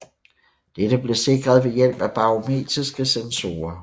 Dette blev sikret ved hjælp af barometriske sensorer